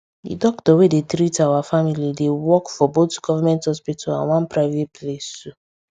the doctor wey dey treat our family dey work for both government hospital and one private place too